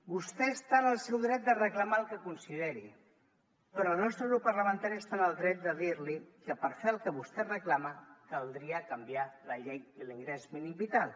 vostè està en el seu dret de reclamar el que consideri però el nostre grup parlamentari està en el dret de dir li que per fer el que vostè reclama caldria canviar la llei de l’ingrés mínim vital